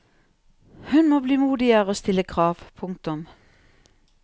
Hun må bli modigere og stille krav. punktum